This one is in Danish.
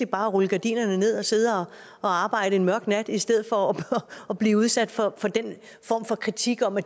bare at rulle gardinerne ned og sidde og arbejde en mørk nat i stedet for at blive udsat for den form for kritik om at